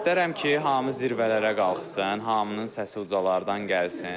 İstərəm ki, hamı zirvələrə qalxsın, hamının səsi ucalardan gəlsin.